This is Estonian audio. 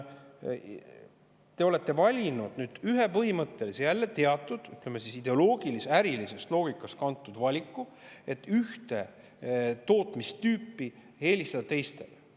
Te olete teinud ühe põhimõttelise, jälle teatud ideoloogiast ja ärilisest loogikast kantud valiku, et ühte tootmistüüpi tuleks eelistada teistele.